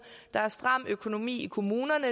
der er en stram økonomi i kommunerne